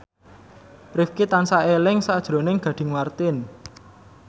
Rifqi tansah eling sakjroning Gading Marten